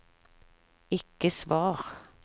ikke svar